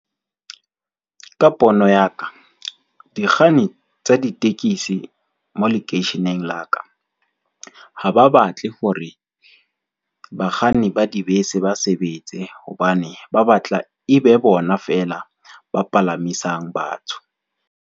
Ka pono ya ka, dikganni tsa ditekesi mo lekeisheneng la ka, ha ba batle hore bakganni ba dibese, ba sebetse hobane ba batla e be bona fela ba palamisang batho.